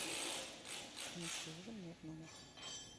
принести ужин мне в номер